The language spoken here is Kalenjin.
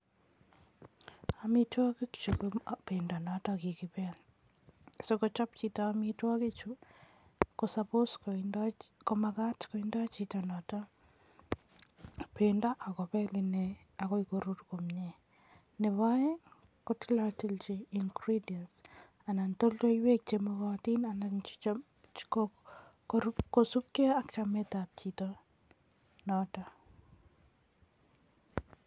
Omitwogik chuu ko pendo notok kigipeel. Sikochop chito omitwogichu, kosuppose kotindo pendo chito noton. Pendo, akopeel inei akorur komie. Nepo oeng' kotilotichi Ingredients anan toldolewiek chemogotin anan kosupkei ak chamet ab chito, noto.